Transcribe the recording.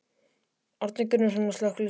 Árni Gunnarsson: Á slökkviliðsmenn?